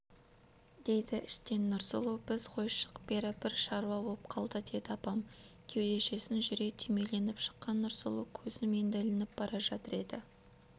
дейді іштен нұрсұлу біз ғой шық бері бір шаруа боп қалды деді апам кеудешесін жүре түймеленіп шыққан нұрсұлу көзім енді ілініп бара жатыр еді